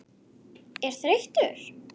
er þreyttur?